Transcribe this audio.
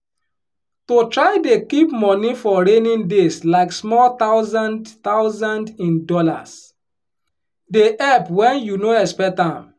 to try dey keep money for raining days like small thousand thousand in dollars dey help wen you no expect am